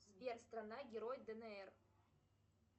сбер страна герой днр